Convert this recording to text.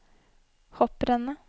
hopprennet